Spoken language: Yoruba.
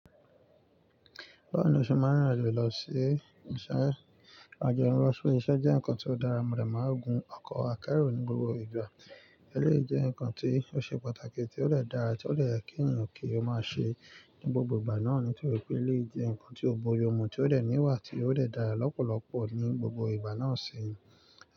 Bí mo ṣe máa n ririn lọ sí ìṣe ọjà ẹ̀rọ sórí iṣẹ́ jẹ́ nǹkan tó dára, mo rẹ̀ mọ́ òògùn ọkọ̀ akẹ́rù ní gbogbo ìgbà. Eléyìí jẹ́ nǹkan tí ó ṣe pàtàkì tí ó dẹ̀ dára tí ó lè kí ènìyàn kí ó máa ṣe ní gbogbo ìgbà náà nítorí pé eléyìí jẹ́ nǹkan tí ó bójúmu tí ó lè níwà tí ó lè dára lọ́pọ̀lọpọ̀ ní gbogbo ìgbà náà si.